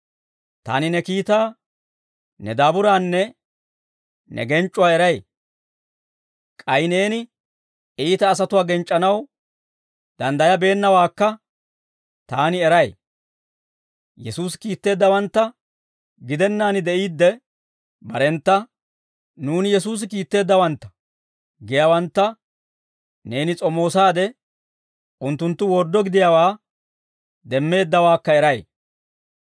Taani ne kiitaa, ne daaburaanne ne genc'c'uwaa eray. K'ay neeni iita asatuwaa genc'c'anaw danddayabeennawaakka taani eray; Yesuusi kiitteeddawantta gidennaan de'iidde barentta, ‹Nuuni Yesuusi kiitteeddawantta› giyaawantta neeni s'omoosaade, unttunttu worddo gidiyaawaa demmeeddawaakka eray.